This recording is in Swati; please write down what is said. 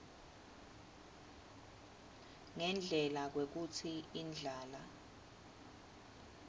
ngendlela kwekutsi indlala